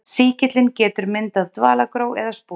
Sýkillinn getur myndað dvalagró eða spora.